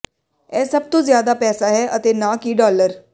ਇਹ ਸਭ ਤੋਂ ਜ਼ਿਆਦਾ ਪੈਸਾ ਹੈ ਅਤੇ ਨਾ ਕਿ ਡਾਲਰ